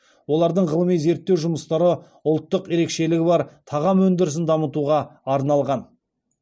олардың ғылыми зерттеу жұмыстары ұлттық ерекшелігі бар тағам өндірісін дамытуға арналған